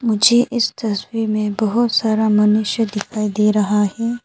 मुझे इस तस्वीर में बहोत सारा मनुष्य दिखाई दे रहा है।